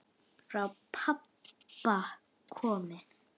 Frá pabba komið.